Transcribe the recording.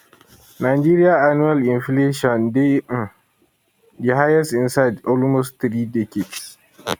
nigeria annual inflation dey um di highest inside almost three decades